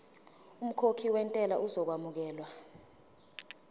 umkhokhi wentela uzokwamukelwa